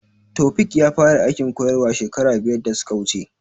Taofiq ya fara aikin koyarwa shekara biyar da suka wuce